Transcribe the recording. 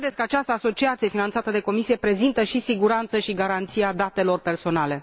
Dacă credeți că această asociație finanțată de Comisie prezintă și siguranță și garanția datelor personale?